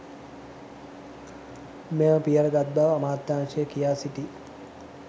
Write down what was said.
මෙම පියවර ගත් බව අමාත්‍යංශය කියා සිටියි.